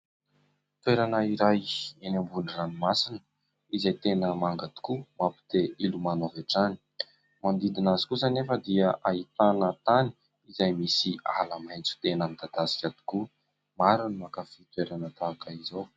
Toerana iray eny ambony ranomasina izay tena manga tokoa mampite hilomano avy hatrany. Ny manodidina azy kosa anefa dia ahitana tany izay misy ala-maitso tena midadasika tokoa. Maro ny mankafy toerana tahaka izao.